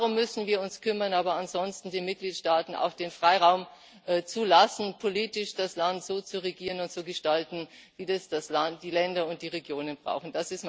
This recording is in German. Darum müssen wir uns kümmern, aber ansonsten den Mitgliedstaaten auch den Freiraum lassen, politisch das Land so zu regieren und zu gestalten, wie das die Länder und die Regionen brauchen.